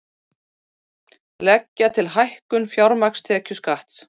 Leggja til hækkun fjármagnstekjuskatts